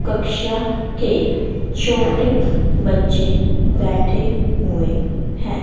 कक्षा के छोटे बच्चे बैठे हुए हैं।